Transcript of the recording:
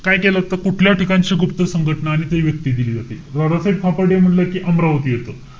काय केलं असत? कुठल्या ठिकाणची गुप्त संघटना आणि काय व्यक्ती दिली होती. दादासाहेब खापर्डे म्हंटल कि अमरावती येत.